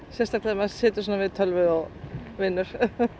sérstaklega ef maður situr svona við tölvu og vinnur